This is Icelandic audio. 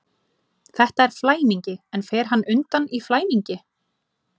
Þetta er flæmingi, en fer hann undan í flæmingi?